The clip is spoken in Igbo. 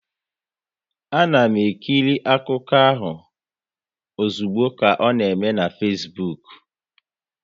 A na m ekiri akụkọ ahụ ozugbo ka ọ na eme na Fesbuk